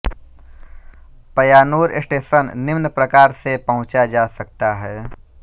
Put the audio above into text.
Payyanur station निम्न प्रकार से पहुंचा जा सकता है